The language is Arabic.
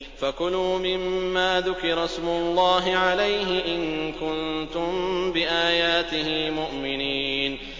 فَكُلُوا مِمَّا ذُكِرَ اسْمُ اللَّهِ عَلَيْهِ إِن كُنتُم بِآيَاتِهِ مُؤْمِنِينَ